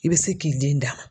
I bɛ se k'i den d'a ma.